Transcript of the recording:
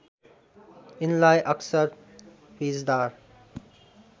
यिनलाई अकसर फिँजदार